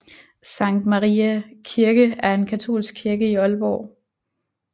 Sankt Mariæ Kirke er en katolsk kirke i Aalborg